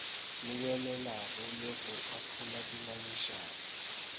lebelelago le go ahlola dingangišano